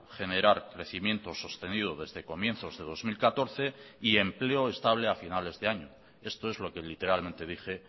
generar crecimiento sostenido desde comienzos de dos mil catorce y empleo estable a finales de año esto es lo que literalmente dije